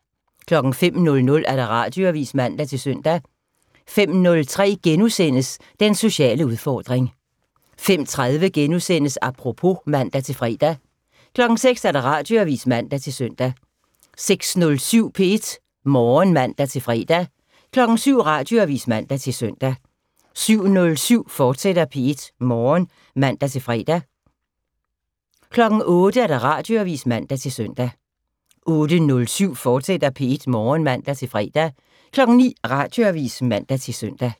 05:00: Radioavis (man-søn) 05:03: Den sociale udfordring * 05:30: Apropos *(man-fre) 06:00: Radioavis (man-søn) 06:07: P1 Morgen (man-fre) 07:00: Radioavis (man-søn) 07:07: P1 Morgen, fortsat (man-fre) 08:00: Radioavis (man-søn) 08:07: P1 Morgen, fortsat (man-fre) 09:00: Radioavis (man-søn)